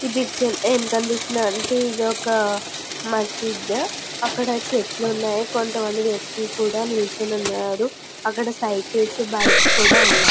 ఈ పిక్చర్ లో ఏమి కనిపిసితుంది అంటే ఇది ఒక మస్జీద్ . అక్కడ చెట్లు ఉనాయి. కొంత మంది వ్వక్తులు కూడా నించొని ఉన్నారు. అక్కడ సైకిల్స్ బైక్స్ కూడా ఉనాయి.